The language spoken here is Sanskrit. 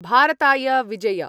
भारताय विजय